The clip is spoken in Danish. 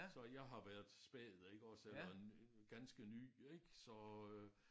Så jeg har været spæd iggås eller ganske ny ik så øh